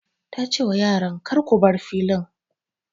Ta ce wa yaran 'Kar ku bar filin'!